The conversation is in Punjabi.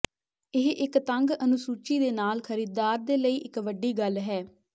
ਇਹ ਇੱਕ ਤੰਗ ਅਨੁਸੂਚੀ ਦੇ ਨਾਲ ਖਰੀਦਦਾਰ ਦੇ ਲਈ ਇੱਕ ਵੱਡੀ ਗੱਲ਼ ਹੈ